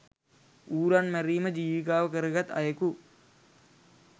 ඌරන් මැරීම ජීවිකාව කරගත් අයෙකු